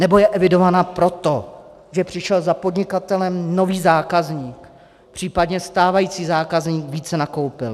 Nebo je evidována proto, že přišel za podnikatelem nový zákazník, případně stávající zákazník více nakoupil.